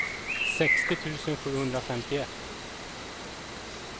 sextio tusen sjuhundrafemtioett